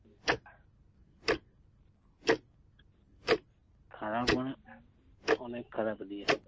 খারাপ মানে- অনেক খারাপ এদিকে।